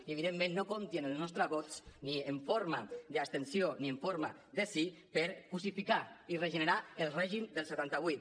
i evidentment no compti amb els nostres vots ni en forma d’abstenció ni en forma de sí per cosificar i regenerar el règim del setanta vuit